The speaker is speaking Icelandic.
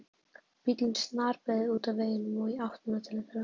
Bíllinn snarbeygði út af veginum og í áttina til þeirra.